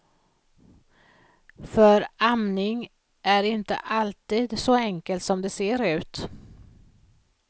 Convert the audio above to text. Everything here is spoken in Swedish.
För amning är inte alltid så enkelt som det ser ut.